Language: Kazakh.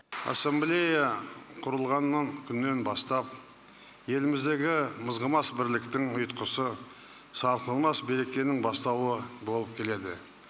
ассамблея құрылғаннан күннен бастап еліміздегі мызғымас бірліктің ұйытқысы сарқылмас берекенің бастауы болып келеді